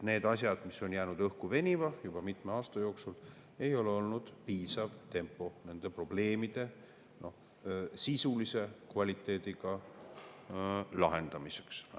Need asjad on jäänud venima juba mitme aasta jooksul, tempo ei ole olnud nende probleemide sisulise kvaliteediga lahendamiseks piisav.